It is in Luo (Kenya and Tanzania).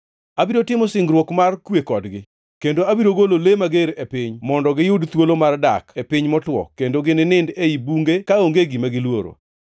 “ ‘Abiro timo singruok mar kwe kodgi, kendo abiro golo le mager e piny mondo giyud thuolo mar dak e piny motwo kendo ginindi ei bunge kaonge gima giluoro.